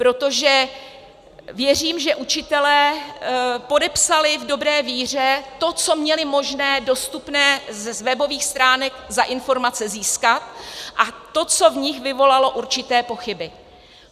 Protože věřím, že učitelé podepsali v dobré víře to, co měli možné, dostupné z webových stránek za informace získat, a to, co v nich vyvolalo určité pochyby.